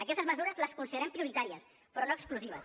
aquestes mesures les considerem prioritàries però no exclusives